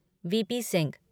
VP. Singh